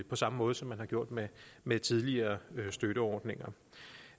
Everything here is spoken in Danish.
på samme måde som man har gjort med med tidligere støtteordninger